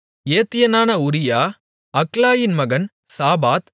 ஏத்தியனான Uriah அக்லாயின் மகன் சாபாத்